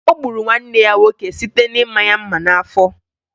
O gburu nwanne ya nwoke site na-ịma ya mma n'afọ